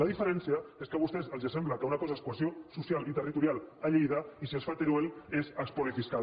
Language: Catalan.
la diferència és que a vostès els sembla que una cosa és cohesió social i territorial a lleida i si es fa a teruel és espoli fiscal